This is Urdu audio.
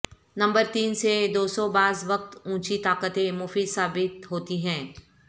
نمبر تین سے دوسو بعض وقت اونچی طاقتیں مفید ثابت ہوتی ہیں